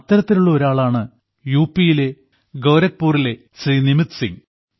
അത്തരത്തിലുള്ള ഒരാളാണ് യു പിയിലെ ഖോരക്പുരിലെ ശ്രീ നിമിത് സിംഗ്